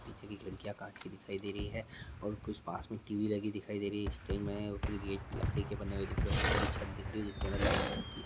पीछे की खिड़कियां कांच की दिखाई दे रही है और कुछ पास में टी_वी लगी दिखाई दे रही है कुछ गेट लकड़ी के बने हुए दिख रहे है ऊपर की छत दिख रही जिसके अंदर लाइट जलती --